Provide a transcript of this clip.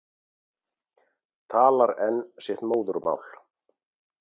Talar enn sitt móðurmál.